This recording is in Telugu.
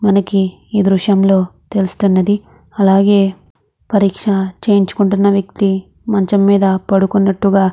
మనకు ఎ ద్రుశము లో కనపెస్తునది. ఇక్కడ మనకు వక వక్తి మాచము వక వక్తి పడుకొని ఉనట్టు ఉనది. ఇక్కడ మనకు కనిపెస్తునది కూడా. ఇక్కడ--